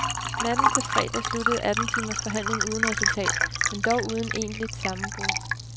Natten til fredag sluttede atten timers forhandling uden resultat, men dog uden egentligt sammenbrud.